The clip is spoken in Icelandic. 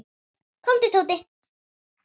Komdu, Tóti.